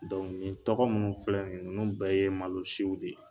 Dɔnku ni tɔgɔ minnu filɛ ninnu bɛɛ ye malosiw de ye